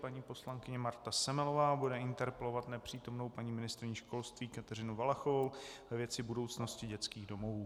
Paní poslankyně Marta Semelová bude interpelovat nepřítomnou paní ministryni školství Kateřinu Valachovou ve věci budoucnosti dětských domovů.